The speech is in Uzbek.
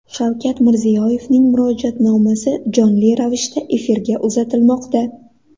Shavkat Mirziyoyevning Murojaatnomasi jonli ravishda efirga uzatilmoqda .